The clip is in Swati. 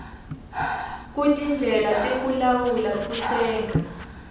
kutindlela tekulawula kutsenga